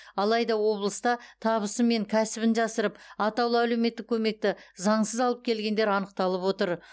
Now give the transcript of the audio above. алайда облыста табысы мен кәсібін жасырып атаулы әлеуметтік көмекті заңсыз алып келгендер анықталып отыр